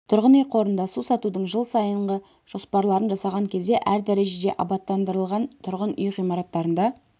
тұрғын үй қорында су сатудың жыл сайынғы жоспарларын жасаған кезде әр дәрежеде абаттандырылған тұрғын үй ғимараттарында